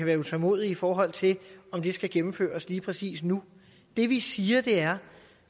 være utålmodig i forhold til om det skal gennemføres lige præcis nu det vi siger er